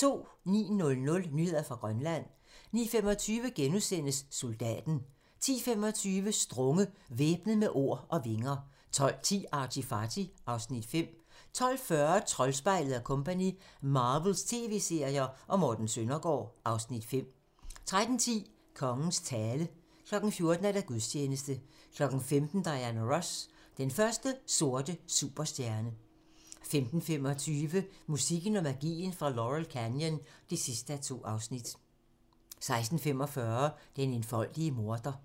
09:00: Nyheder fra Grønland 09:25: Soldaten * 10:25: Strunge - Væbnet med ord og vinger 12:10: ArtyFarty (Afs. 5) 12:40: Troldspejlet & Co - Marvels tv-serier og Morten Søndergaard (Afs. 5) 13:10: Kongens tale 14:00: Gudstjeneste 15:00: Diana Ross - den første sorte superstjerne 15:25: Musikken og magien fra Laurel Canyon (2:2) 16:45: Den enfoldige morder